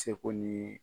Seko ni